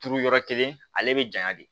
Turu yɔrɔ kelen ale bɛ janya de